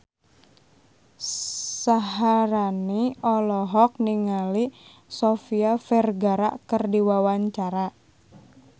Syaharani olohok ningali Sofia Vergara keur diwawancara